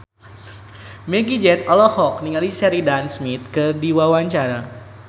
Meggie Z olohok ningali Sheridan Smith keur diwawancara